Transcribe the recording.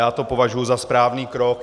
Já to považuji za správný krok.